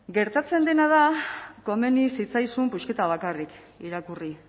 gertatzen dena da komeni zitzaizun pusketa bakarrik irakurri